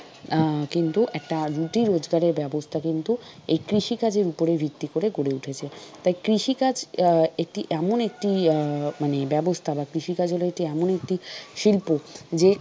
আহ কিন্তু একটা রুটি রোজগারের ব্যবস্থা কিন্তু এই কৃষি কাজের উপরে ভিত্তি করে গড়ে উঠেছে। তাই কৃষিকাজ আহ একটি এমন একটি আহ মানে ব্যবস্থা বা কৃষিকাজ হল একটি এমন একটি শিল্প যে,